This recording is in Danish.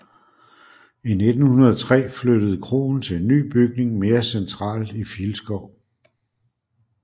I 1903 flyttede kroen til en ny bygning mere centralt i Filskov